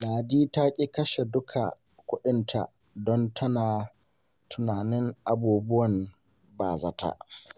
Ladi ta ƙi kashe duka kuɗinta don tana tunanin abubuwan ba-zata.